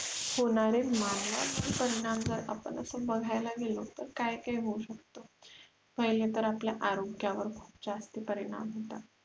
होणारे मानवावर परिणाम जर आपण अस बघायला गेलं तर काय काय होऊ शकतं पहिलं तर आपल्या आरोग्यावर खुप जास्ती परिणाम होतात